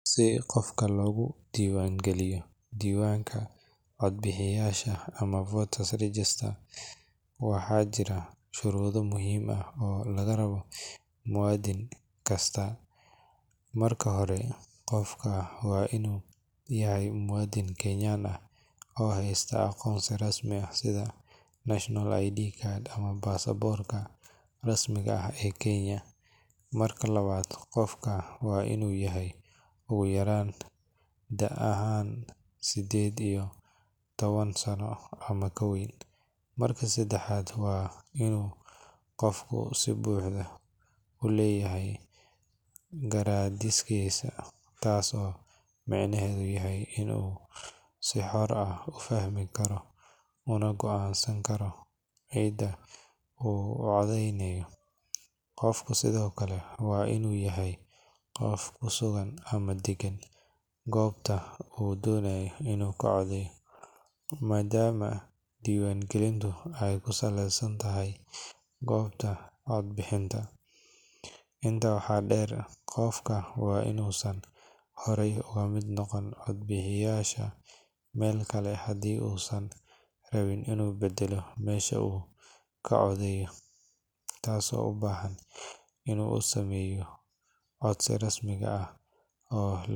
Si qofka logu diwangaliyo diwanka cood bixiyasha amah voters regester waxa jira sharudo muhim ah oo lagarabo muwadin kasta, marka hore qofka waa inu yahay muwadin kenyan ah oo haysta aqonsi rasmi ah sidaa national id card amah bastaporka rasmiga ah ee kenya, marka labad qoofka waa inu yahay ogu yaran dee ahaan sideed iyo toban sano iyo kaweyn, marki sedexad waa inu qofka sii buxdo uleyahay garadiskisa tasi oo macnehedu yahay inu sii xor uu ufahmi karo una goo ansani karo cidaa uu ocodeynayo qoofka, sidiokale waa inu yahay qoof kusugan ama degan gobta uu donayo inu kacodeyo madam aay diwan galintu aay kusaleysantahay gobta codbixinta, inta waxa der qofka waa inu san hore ogamid noqonin cood bixiyasha melkale hadu san rabin inu badelo mesha ukacodeyo tasi oo ubahan inu uu usameyo codsiga rasmiga ah oo.